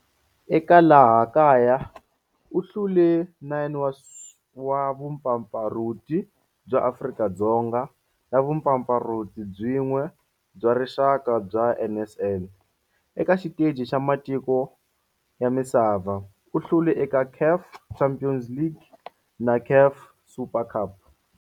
Eka laha kaya u hlule 9 wa vumpfampfarhuti bya Afrika-Dzonga na vumpfampfarhuti byin'we bya rixaka bya NSL. Eka xiteji xa matiko ya misava, u hlule eka CAF Champions League na CAF Super Cup.